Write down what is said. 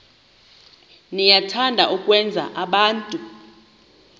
niyathanda ukwenza abantu